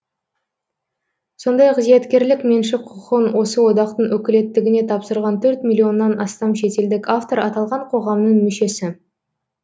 сондай ақ зияткерлік меншік құқығын осы одақтың өкілеттігіне тапсырған төрт миллионнан астам шетелдік автор аталған қоғамның мүшесі